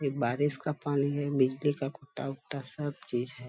ये बारिश का पानी हैबिजली का सब चीज है।